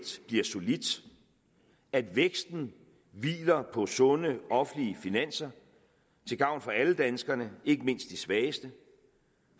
bliver solidt at væksten hviler på sunde offentlige finanser til gavn for alle danskerne ikke mindst de svageste